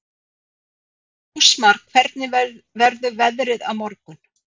Ásmar, hvernig verður veðrið á morgun?